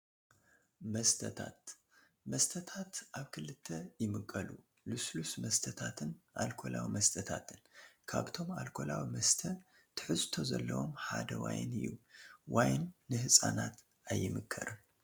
መስተታት፡- መስተታት ኣብ ክልተ ይምቀሉ፡፡ ልስሉስ መስተታትን ኣልኮላዊ መስተታትን፡፡ ካብቶም ኣልኮላዊ መስተ ትሕዝቶ ዘለዎም ሓደ ዋይን እዩ፡፡ ዋይን ንህፃናት ኣይምከርን፡፡